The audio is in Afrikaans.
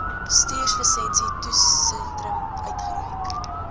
bestuurslisensie toetssentrum uitgereik